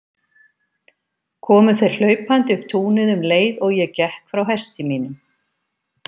Komu þeir hlaupandi upp túnið um leið og ég gekk frá hesti mínum.